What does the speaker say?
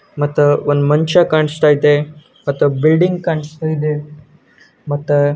ಮತ ಒಂದು ಮನುಷ್ಯ ಕಾಣಿಸ್ತಾ ಆಯತೆ ಮತ ಬಿಲ್ಡಿಂಗ್ ಕಾಣಿಸ್ತಾ ಇದೆ ಮತ--